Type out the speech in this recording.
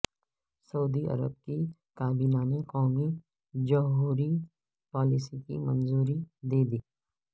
سعودی عرب کی کابینہ نے قومی جوہری پالیسی کی منظوری دے دی